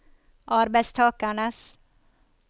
arbeidstakernes